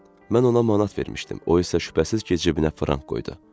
Mən ona manat vermişdim, o isə şübhəsiz ki cibinə frank qoydu.